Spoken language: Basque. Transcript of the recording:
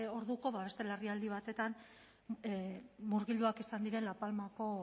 orduko beste larrialdi batean murgilduak izan direla palmako